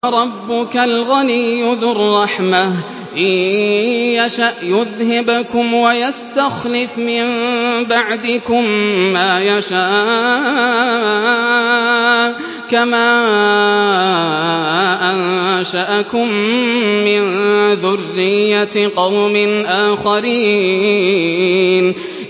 وَرَبُّكَ الْغَنِيُّ ذُو الرَّحْمَةِ ۚ إِن يَشَأْ يُذْهِبْكُمْ وَيَسْتَخْلِفْ مِن بَعْدِكُم مَّا يَشَاءُ كَمَا أَنشَأَكُم مِّن ذُرِّيَّةِ قَوْمٍ آخَرِينَ